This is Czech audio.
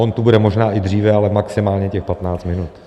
On tu bude možná i dříve, ale maximálně těch 15 minut.